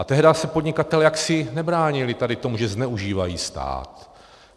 A tehdy se podnikatelé jaksi nebránili tady tomu, že zneužívají stát.